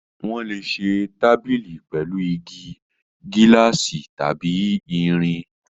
Wọ́n lè ṣe tábìlì pẹ̀lú igi, gíláàsì tàbí irin.